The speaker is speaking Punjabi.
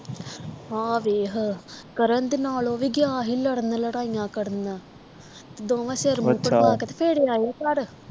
ਆਹ ਵੇਖ ਕਰਨ ਦੇ ਨਾਲ ਓਹ ਵੀ ਗਿਆ ਸੀ ਲੜਨ ਲੜਾਈਆਂ ਕਰਨ ਦੋਵੇਂ ਸਿਰ ਮੂੰਹ ਅੱਛਾ ਪੜਵਾ ਕੇ ਤੇ ਫੇਰ ਆਏ ਇਹ ਘਰ